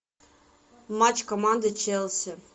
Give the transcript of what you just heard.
матч команды челси